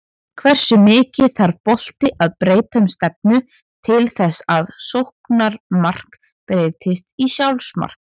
Hversu mikið þarf bolti að breyta um stefnu til þess að sóknarmark breytist í sjálfsmark?